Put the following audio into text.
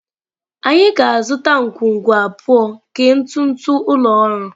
Anyị ga-azụta ngwungwu abụọ nke ntụtụ ụlọ ọrụ.